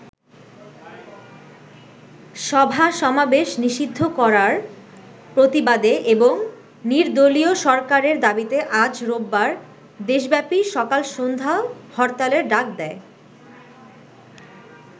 সভা-সমাবেশ নিষিদ্ধ করার প্রতিবাদে এবং নির্দলীয় সরকারের দাবিতে আজ রোববার দেশব্যাপী সকাল সন্ধ্যা হরতালের ডাক দেয়।